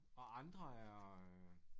Og andre er øh